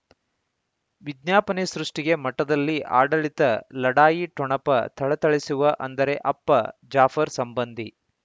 ವಿಜ್ಞಾಪನೆ ಸೃಷ್ಟಿಗೆ ಮಠದಲ್ಲಿ ಆಡಳಿತ ಲಢಾಯಿ ಠೊಣಪ ಥಳಥಳಿಸುವ ಅಂದರೆ ಅಪ್ಪ ಜಾಫರ್ ಸಂಬಂಧಿ